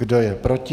Kdo je proti?